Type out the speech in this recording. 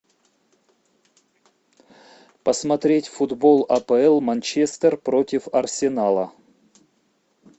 посмотреть футбол апл манчестер против арсенала